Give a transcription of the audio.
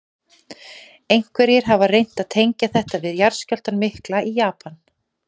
Einhverjir hafa reynt að tengja þetta við jarðskjálftann mikla í Japan.